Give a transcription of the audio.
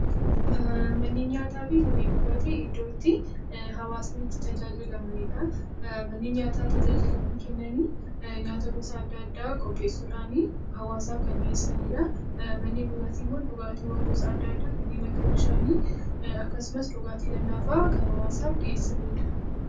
Manneen nyaataa fi manneen dhugaatii iddoo itti hawaasni itti tajaajilamani dha. Manneen nyaataa tajaajila kan kennani nyaata gosa adda addaa qopheessuu dhaan hawaasaaf kan dhiyeessani dha. Manneen dhugaatii immoo dhugaatiiwwan gosa adda addaa kanneen akka Bishaanii akkasumas dhugaatii lallaafa kan hawaasaaf dhiyeessani dha.